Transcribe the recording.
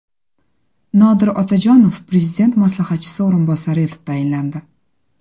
Nodir Otajonov Prezident maslahatchisi o‘rinbosari etib tayinlandi.